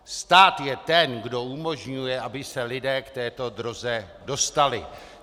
Stát je ten, kdo umožňuje, aby se lidé k této droze dostali.